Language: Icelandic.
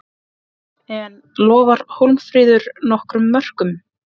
En lofar Hólmfríður nokkrum mörkum?